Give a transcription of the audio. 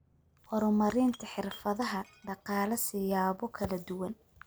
Horumarinta Xirfadaha Dhaqaale siyaabo kala duwan.